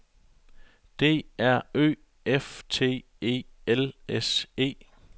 D R Ø F T E L S E